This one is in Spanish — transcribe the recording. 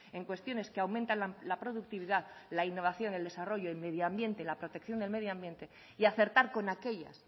en cuestiones que aumentan la productividad la innovación el desarrollo el medioambiente la protección del medioambiente y acertar con aquellas